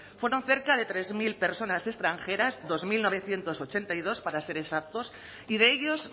fueron cerca de tres mil personas extranjeras dos mil novecientos ochenta y dos para ser exactos y de ellos